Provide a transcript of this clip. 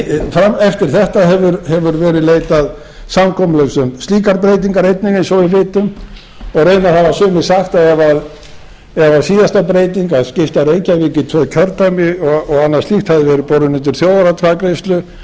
það en eftir þetta hefur verið leitað samkomulags um slíkar breytingar eins og við vitum og reyndar hafa sumir sagt að ef síðasta breyting að skipta reykjavík í tvö kjördæmi og annað slíkt hefði verið borin undir